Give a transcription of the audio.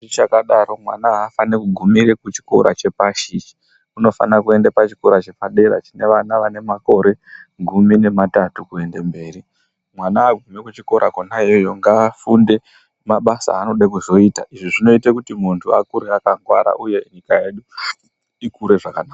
Ichakadaro, mwana afani kugumira kuchikoro chepashi ichi, unofanira kuenda pachikora chepadera chine vana vanemakore gumi nematatu kuenda mberi, mwana wekuchikora kona iyoyo, ngawafunde mabasa awanoda kuzoita, izvi zvinoita kuti munhu akure akangwara uye nyika yedu ikure zvakanaka.